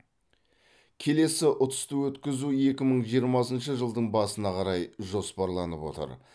келесі ұтысты өткізу екі мың жиырмасыншы жылдың басына қарай жоспарланып отыр